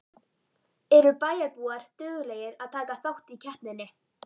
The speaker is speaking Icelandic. Eru bæjarbúar duglegir að taka þátt í keppninni?